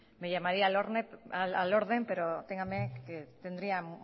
me llamaría al orden pero téngame que tendría